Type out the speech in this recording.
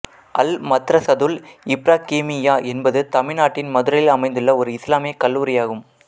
அல் மத்ரசதுல் இப்ராகீமிய்யா என்பது தமிழ்நாட்டின் மதுரையில் அமைந்துள்ள ஒரு இஸ்லாமிய கல்லூரியாகும்